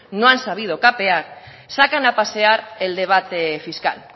no han sabido capear sacan a pasear el debate fiscal